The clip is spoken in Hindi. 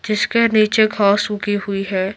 जिसके नीचे घास सूखी हुई है।